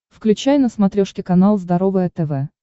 включай на смотрешке канал здоровое тв